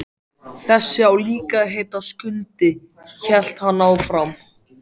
Þessi á líka að heita Skundi, hélt hann áfram.